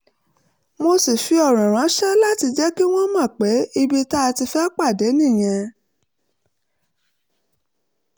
mo sì fi ọ̀rọ̀ ránṣẹ́ láti jẹ́ kí wọ́n mọ̀ pé ibi tá a ti fẹ́ pàdé nìyẹn